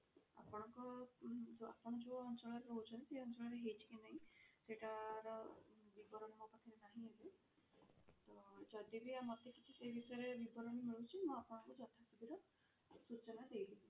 ଆପଣଙ୍କ ଉ ଆପଣ ଯଉ ଅଞ୍ଚଳରେ ରହୁଛନ୍ତି ସେଇ ଅଞ୍ଚଳ ରେ ହେଇଛି କି ନାହିଁ ସେଇଟା ର ବିବରଣୀ ମୋ ପାଖରେ ରେ ନାହିଁ ଏବେ ତ ଯଦି ବି ଆମର କିଛି ସେଇ ବିଷୟରେ ବିବରଣୀ ମିଳୁଛି ମୁଁ ଆପଣଙ୍କୁ ଯଥାଶୀଘ୍ର ସୂଚନା ଦେଇ ଦେବି।